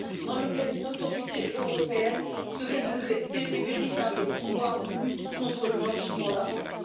dans lequel une autorité européenne serait dotée de véritables pouvoirs de lutte contre le blanchiment d'argent.